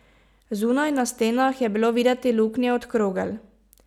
Zunaj, na stenah, je bilo videti luknje od krogel.